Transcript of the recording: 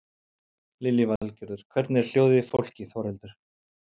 Lillý Valgerður: Hvernig er hljóðið í fólki Þórhildur?